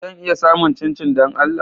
Zan iya samun chinchin don Allah?